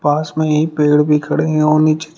पास में यही पेड़ भी खड़े हैं और नीचे --